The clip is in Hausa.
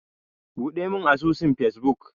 Buɗemin asusun Facebook.